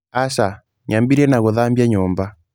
Aca, nyambĩrĩirie na gũthambia nyũmba.